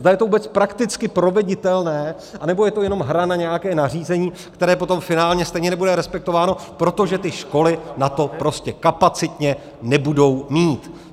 Zda je to vůbec prakticky proveditelné, anebo je to jenom hra na nějaké nařízení, které potom finálně stejně nebude respektováno, protože ty školy na to prostě kapacitně nebudou mít.